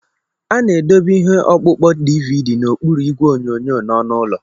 A na-edobe ihe ọkpụkpọ DVD n'okpuru igwe onyonyo na ọnụ ụlọ.